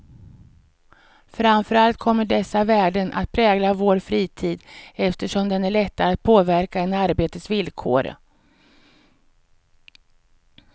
Framför allt kommer dessa värden att prägla vår fritid, eftersom den är lättare att påverka än arbetets villkor.